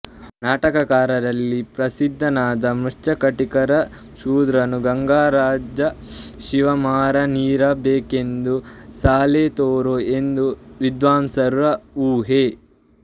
ನಾಟಕಕಾರರಲ್ಲಿ ಪ್ರಸಿದ್ಧನಾದ ಮೃಚ್ಫಕಟಿಕಕಾರ ಶೂದ್ರಕನು ಗಂಗರಾಜ ಶಿವಮಾರನಿರಬೇಕೆಂದು ಸಾಲೆತೊರೆ ಎಂಬ ವಿದ್ವಾಂಸರ ಊಹೆ